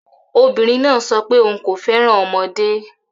Obìnrin náà sọ pé òun kò fẹ́ràn ọmọdé